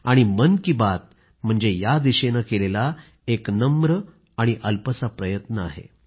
आणि मन की बात म्हणजे या दिशेने केलेला एक नम्र आणि छोटासा प्रयत्न आहे